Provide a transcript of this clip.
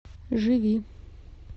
живи